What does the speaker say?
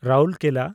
Rourkela